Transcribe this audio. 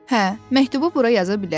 Hə, məktubu bura yaza bilərəm.